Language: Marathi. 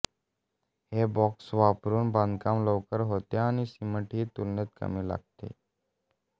हे ब्लॉक्स वापरून बांधकाम लवकर होते आणि सिमेंटही तुलनेने कमी लागते